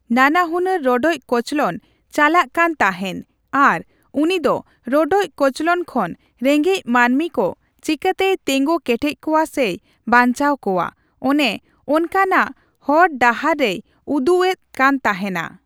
ᱱᱟᱱᱟᱦᱩᱱᱟᱹᱨ ᱨᱚᱰᱚᱡ ᱠᱚᱪᱞᱚᱱ ᱪᱟᱞᱟᱜ ᱠᱟᱱ ᱛᱟᱦᱮᱸᱱ᱾ ᱟᱨ ᱩᱱᱤ ᱫᱚ ᱨᱚᱰᱚᱡ ᱠᱚᱪᱞᱚᱱ ᱠᱷᱚᱱ ᱨᱮᱸᱜᱮᱡ ᱢᱟᱹᱱᱢᱤ ᱠᱚ ᱪᱮᱠᱟᱛᱮᱭ ᱛᱤᱸᱜᱩ ᱠᱮᱴᱮᱡ ᱠᱚᱣᱟ ᱥᱮᱭ ᱵᱟᱧᱪᱟᱣ ᱠᱚᱣᱟ ᱾ ᱚᱱᱮ ᱚᱱᱠᱟᱱᱟᱜ ᱦᱚᱨᱼᱰᱟᱦᱟᱨᱮᱭ ᱩᱫᱩᱜ ᱮᱫ ᱠᱟᱱ ᱛᱟᱦᱮᱸᱱᱟ ᱾